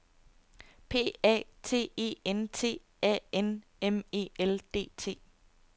P A T E N T A N M E L D T